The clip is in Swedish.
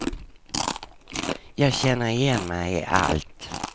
Jag känner igen mig i allt.